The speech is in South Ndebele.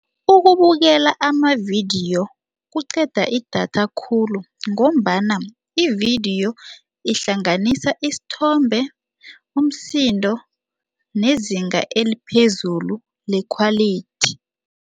Ukubukela amavidiyo kuqeda idatha khulu ngombana ividiyo ihlanganisa isithombe umsindo nezinga eliphezulu le-quality.